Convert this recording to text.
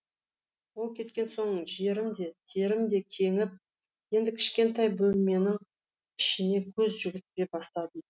ол кеткен соң жерім де терім де кеңіп енді кішкентай бөлменің ішіне көз жүгірте бастадым